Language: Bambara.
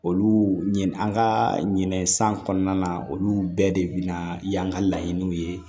Olu ɲin an ka ɲinɛ san kɔnɔna na olu bɛɛ de bɛna y'an ka laɲiniw ye